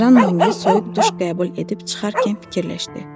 Jan Moye soyuq duş qəbul edib çıxarkən fikirləşdi.